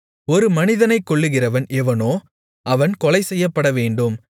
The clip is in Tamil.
ஒரு மனிதனைக் கொல்லுகிறவன் எவனோ அவன் கொலைசெய்யப்படவேண்டும்